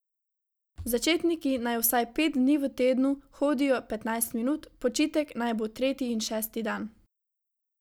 Začetniki naj vsaj pet dni v tednu hodijo petnajst minut, počitek naj bo tretji in šesti dan.